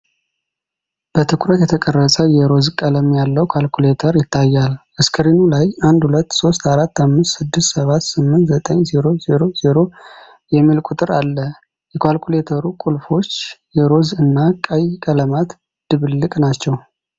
በትኩረት የተቀረጸ የሮዝ ቀለም ያለው ካልኩሌተር ይታያል። ስክሪኑ ላይ '123456789000' የሚል ቁጥር አለ። የካልኩሌተሩ ቁልፎች የሮዝ እና ቀይ ቀለማት ድብልቅ ናቸው።